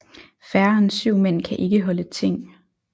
Færre end syv Mænd kan ikke holde Ting